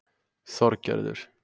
Þorgerður